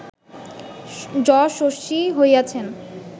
যশস্বী হইয়াছেন